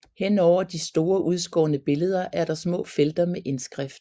Henover de store udskårne billeder er der små felter med indskrift